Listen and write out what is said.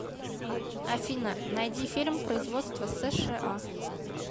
афина найди фильм производства сша